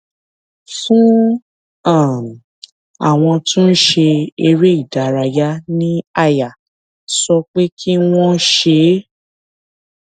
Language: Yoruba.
fún um àwọn tó ń ṣe eré ìdárayá ní àyà sọ pé kí wón ṣe é